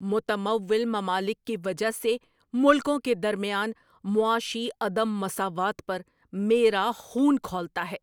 متمول ممالک کی وجہ سے ملکوں کے درمیان معاشی عدم مساوات پر میرا خون کھولتا ہے۔